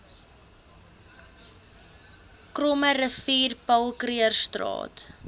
krommerivier paul krugerstraat